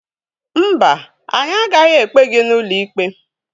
Mba, anyị agaghị ekpe gị n'ụlọikpe.